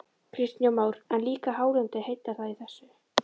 Kristján Már: En líka hálendið, heillar það í þessu?